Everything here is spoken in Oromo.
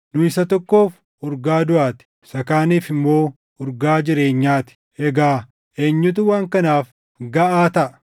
Nu isa tokkoof urgaa duʼaa ti; isa kaaniif immoo urgaa jireenyaa ti. Egaa eenyutu waan kanaaf gaʼaa taʼa?